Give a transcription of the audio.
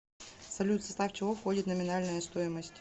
салют в состав чего входит номинальная стоимость